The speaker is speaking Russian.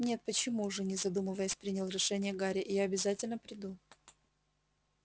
нет почему же не задумываясь принял решение гарри я обязательно приду